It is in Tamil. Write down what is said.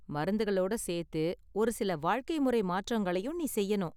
மருந்துகளோட சேர்த்து ஒரு சில வாழ்க்கை முறை மாற்றங்களையும் நீ செய்யணும்.